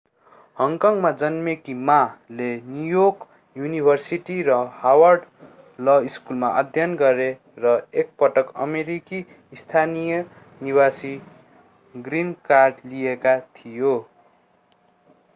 हङकङमा जन्मेकी माmaले न्यू योर्क युनिभर्सिटी र हार्वर्ड ल स्कूलमा अध्ययन गरे र एक पटक अमेरिकी स्थायी निवासी ग्रीन कार्ड” लिएका थियो।